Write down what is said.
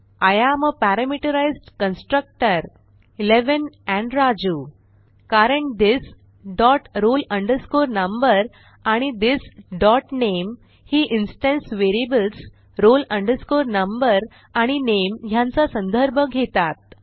I am a parameterized constructor 11 आणि राजू कारण this dot roll number आणि थिस डॉट नामे ही इन्स्टन्स व्हेरिएबल्स roll number आणि name ह्यांचा संदर्भ घेतात